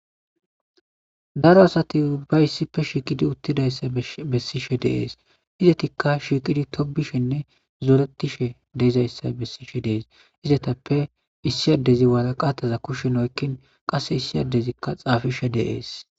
daro asati ubba issipfe shiiqidi uttidayssa bessishe de'ees izetikka shiiqidi tobishenne zoretishe deyzayssa bessishe dees izetappe issi adezi waraqataza kushshen oykkin qase issi adezikka xaafishe de'ees